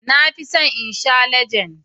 Na fi son in sha Legend.